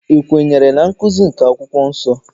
I kwenyere na nkụzi nke akwụkwọ nsọ?